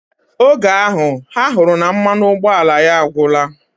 Oge ahu, ha huru na mmanụ ụgbọala ya agwora.